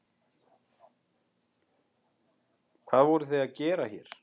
Hvað voruð þið að gera hér?